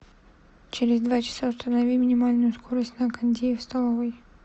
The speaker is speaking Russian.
через два часа установи минимальную скорость на кондее в столовой